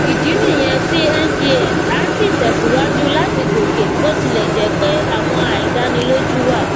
ìdí nìyẹn tí ngx asi tẹsíwájú láti gòkè bí ó tilẹ jẹ pé àwọn aidaniloju wà